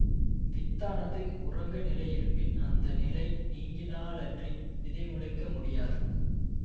வித்தானது உறங்கு நிலையிலிருப்பின் அந்த நிலை நீங்கினாலன்றி விதை முளைக்க முடியாது